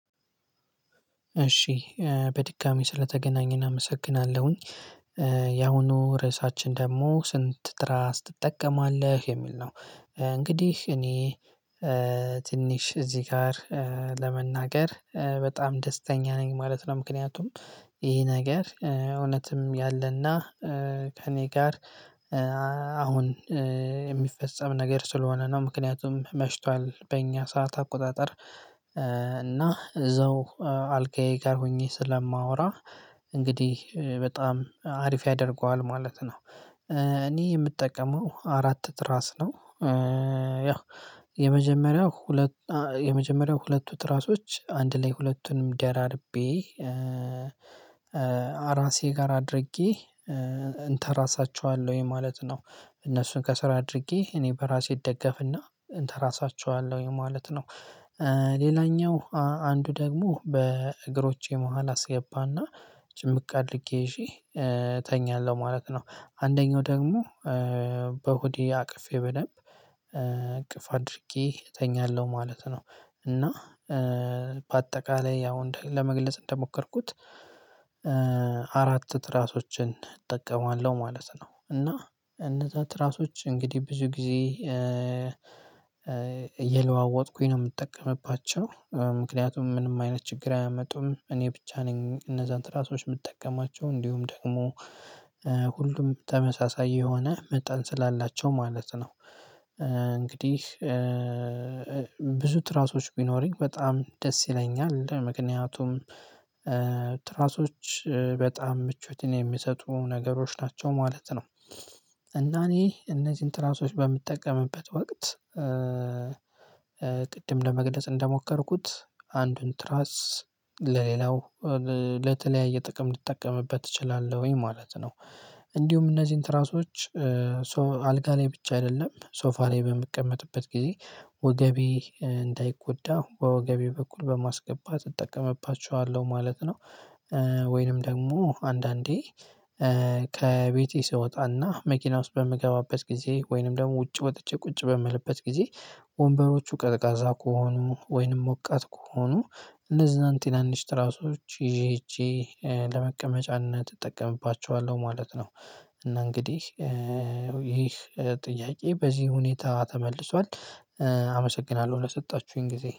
እሺ በድጋሜ ስለተገናኘን አመሰግናለሁኝ ያሁኑ ርዕሳችን ደግሞ ስንት ትራስ ትጠቀማለህ የሚል ነው? እንግዲህ እኔ ትንሽ እዚህ ጋር ለመናገር በጣም ደስተኛ ነኝ ማለት ነው። ምክንያቱም እሂ ነገር እውነትም ያለና ከእኔ ጋር አሁን የሚፈጸም ነገር ስለሆነ ነው ምክንያቱም መሽቷል በእኛ ሰዓት አቆጣጠር። እና እዛው አልጋየ ጋር ሆኜ ስለማወራ እንግዲህ በጣም አሪፍ ያደርገዋል ማለት ነው። እኔ የምጠቀመው አራት ትራስ ነው። ያው የመጀመሪያው ሁለት የመጀመሪያው ሁለቱ ትራሶች አንድ ላይ ሁለቱንም ደራርቤ እራሴ ጋር አድርጌ እንተራሳቸዋለሁኝ ማለት ነው። እነሱን ከስር አድርጌ እኔ በራሴ እደገፍ እና እንተራሳቸዋለሁኝ ማለት ነው። ሌላኛው አንዱ ደግሞ በእግሮቼ መሃል አስገባና ጭምቅ አድርጌ ይዤ እተኛለሁ ማለት ነው። አንደኛው ደግሞ በሆዴ አቅፌ በደንብ እቅፍ አድርጌ እተኛለሁ ማለት ነው። እና በአጠቃላይ ያው እንደ ለመግለጽ እንደሞከርኩት አራት ትራሶችን እጠቀማለሁ ማለት ነው። እና እነዛ ትራሶች እንግዲህ ብዙ ጊዜ እየለዋወጥኩኝ ነው ምጠቀምባቸው። ምክንያቱም ምንም አይነት ችግር አያመጡም እኔ ብቻ ነኝ እነዛን ትራሶች ምጠቀማቸው እንዲሁም ደግሞ ሁሉም ተመሳሳይ የሆነ መጠን ስላላቸው ማለት ነው። እንግዲህ ብዙ ትራሶች ቢኖሩኝ በጣም ደስ ይለኛል ምክንያቱም ትራሶች በጣም ምቾትን የሚሰጡ ነገሮች ናቸው ማለት ነው። እና እኔ እነዚህን ትራሶች በምጠቀምበት ወቅት ቅድም ለመግለጽ እንደሞከርኩት አንዱን ትራስ ለሌላው ለተለያየ ጥቅም ልጠቀምበት እችላለሁኝ ማለት ነው። እንዲሁም እነዚህን ትራሶች አልጋ ላይ ብቻ አይደለም ሶፋ ላይ በምቀመጥበት ጊዜ ወገቤ እንዳይጎዳ በወገቤ በኩል በማስገባት እጠቀምባቸዋለሁ ማለት ነው። ወይንም ደግሞ አንዳንዴ ከቤቴ ስወጣና መኪና ውስጥ በምገባበት ጊዜ ወይንም ደግሞ ውጭ ወጥቼ ቁጭ በምልበት ጊዜ ወንበሮቹ ቀዝቃዛ ከሆኑ ወይንም ሞቃት ከሆኑ እነዛን ትናንሽ ትራሶች ይዤ ሄጄ ለመቀመጫነት እጠቀምባቸዋለሁ ማለት ነው። እና እንግዲህ ይህ ጥያቄ በዚህ ሁኔታ ተመልሷል አመሰግናለሁ ለሰጣችሁኝ ጊዜ